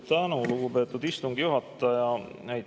Suur tänu, lugupeetud istungi juhataja!